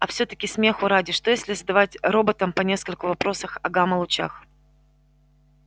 а всё-таки смеху ради что если задавать роботам по нескольку вопросах о гамма-лучах